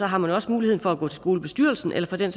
har man også muligheden for at gå til skolebestyrelsen eller for den